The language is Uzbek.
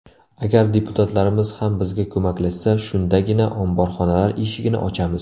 Agar deputatlarimiz ham bizga ko‘maklashsa, shundagina omborxonalar eshigini ochamiz.